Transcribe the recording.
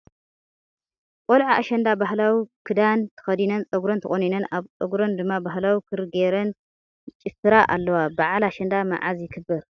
ቆልዑ ኣሸንዳ ባህላዊ ኪዳን ተከዲነን ፀጉርን ተቆኒነን ኣብ ፀጉራን ድማ ባህላዊ ክሪ ገይረን ይ ጭፍራ ኣለዋ ። በዓል ኣሸንዳ መዓዘ ይክበር ?